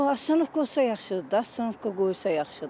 Yox, avtobus dayanacağı olsa yaxşıdır da, dayanacaq qoysa yaxşıdır.